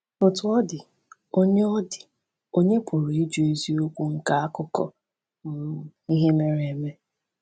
Otú ọ dị, ònye ọ dị, ònye pụrụ ịjụ eziokwu nke akụkọ um ihe mere eme?